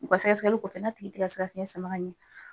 U ka sɛgɛ sɛgɛli kɔfɛ, n'a tigi ti ka se ka fiɲɛ sama ɲɛ